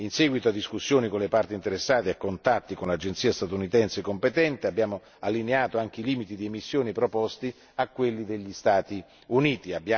In seguito a discussione con le parti interessate e contatti con l'agenzia statunitense competente, abbiamo allineato anche i limiti di emissione proposti a quelli degli Stati Uniti.